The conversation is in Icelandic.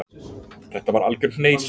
Þetta var algjör hneysa.